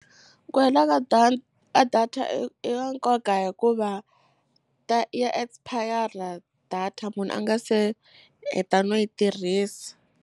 Ku hela ka ka data i i ka nkoka hikuva ta ya expire-ra data munhu a nga se heta no yi tirhisa.